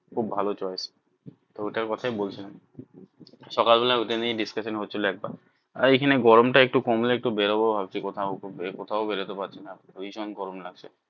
খুব ভালো choice তো ওটার কথাই বলছিলাম সকাল বেলা ওইটা নিয়ে discussion হছিলো। একটা এখানে গরম টা একটু কমলে একটু বেরোবো ভাবছি কোথাও কোথাও বেরোতে পারছি না ভীষণ গরম লাগছে